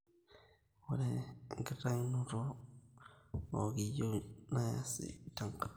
Ore enkitayunoto oo .....keyieu nayasi tenkata